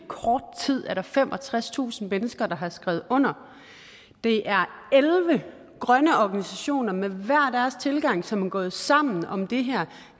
kort tid er der femogtredstusind mennesker der har skrevet under det er elleve grønne organisationer med hver deres tilgang som er gået sammen om det her